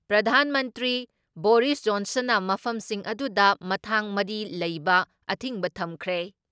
ꯄ꯭ꯔꯙꯥꯟ ꯃꯟꯇ꯭ꯔꯤ ꯕꯣꯔꯤꯁ ꯖꯣꯟꯁꯟꯅ ꯃꯐꯝꯁꯤꯡ ꯑꯗꯨꯗ ꯃꯊꯥꯡ ꯃꯔꯤ ꯂꯩꯕ ꯑꯊꯤꯡꯕ ꯊꯝꯈ꯭ꯔꯦ ꯫